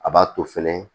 A b'a to fɛnɛ